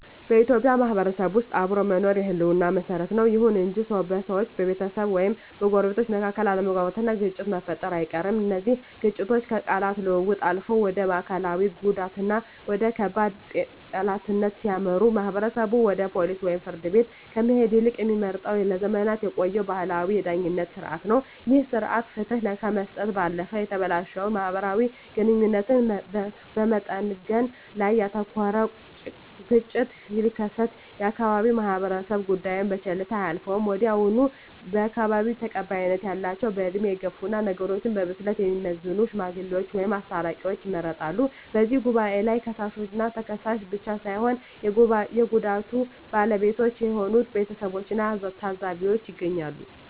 በኢትዮጵያ ማህበረሰብ ውስጥ አብሮ መኖር የህልውና መሰረት ነው። ይሁን እንጂ በሰዎች፣ በቤተሰብ ወይም በጎረቤቶች መካከል አለመግባባትና ግጭት መፈጠሩ አይቀርም። እነዚህ ግጭቶች ከቃላት ልውውጥ አልፈው ወደ አካላዊ ጉዳትና ወደ ከባድ ጠላትነት ሲያመሩ፣ ማህበረሰቡ ወደ ፖሊስ ወይም ፍርድ ቤት ከመሄድ ይልቅ የሚመርጠው ለዘመናት የቆየውን ባህላዊ የዳኝነት ሥርዓት ነው። ይህ ሥርዓት ፍትህ ከመስጠት ባለፈ የተበላሸውን ማህበራዊ ግንኙነት በመጠገን ላይ ያተኩራል። ግጭቱ ሲከሰት የአካባቢው ማህበረሰብ ጉዳዩን በቸልታ አያልፈውም። ወዲያውኑ በአካባቢው ተቀባይነት ያላቸው፣ በዕድሜ የገፉና ነገሮችን በብስለት የሚመዝኑ "ሽማግሌዎች" ወይም "አስታራቂዎች" ይመረጣሉ። በዚህ ጉባኤ ላይ ከሳሽና ተከሳሽ ብቻ ሳይሆኑ የጉዳዩ ባለቤቶች የሆኑት ቤተሰቦችና ታዘቢዎችም ይገኛሉ።